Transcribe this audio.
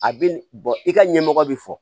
A bɛ i ka ɲɛmɔgɔ bi fɔ